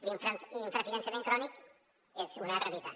l’infrafinançament crònic és una realitat